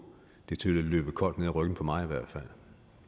det til at løbe koldt ned ad ryggen på mig i hvert